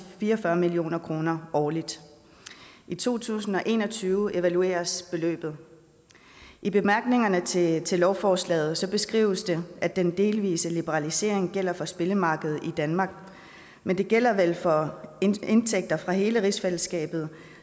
fire og fyrre million kroner årligt i to tusind og en og tyve evalueres beløbet i bemærkningerne til til lovforslaget beskrives det at den delvise liberalisering gælder for spillemarkedet i danmark men den gælder vel for indtægter fra hele rigsfællesskabet